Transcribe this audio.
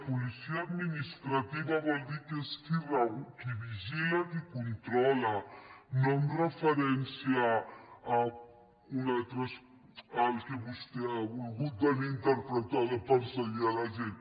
policia administrativa vol dir que és qui vigila qui controla no amb referència al que vostè ha volgut venir a interpretar de perseguir la gent